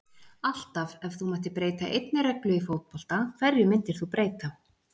alltaf Ef þú mættir breyta einni reglu í fótbolta, hverju myndir þú breyta?